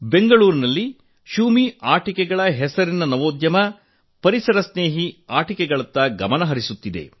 ಬೆಂಗಳೂರಿನಲ್ಲಿ ಶೂಮಿ ಆಟಿಕೆಗಳ ಹೆಸರಿನ ನವೋದ್ಯಮ ಪರಿಸರ ಸ್ನೇಹಿ ಆಟಿಕೆಗಳತ್ತ ಗಮನ ಹರಿಸುತ್ತಿದೆ